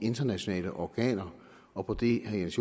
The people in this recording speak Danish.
internationale organer og på det herre jens